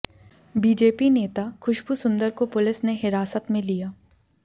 BJP नेता खुशबू सुंदर को police ने हिरासत में लिया